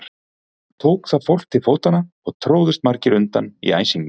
Tók þá fólk til fótanna og tróðust margir undir í æsingnum.